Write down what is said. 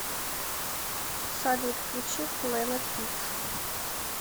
салют включи плэнет пикс